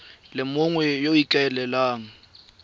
le mongwe yo o ikaelelang